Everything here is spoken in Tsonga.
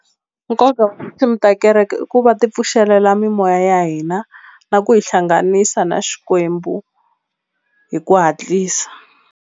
Nkoka wa tinsimu ta kereke i ku va ti pfuxelela mimoya ya hina na ku hi hlanganisa na Xikwembu hi ku hatlisa.